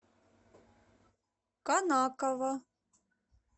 конаково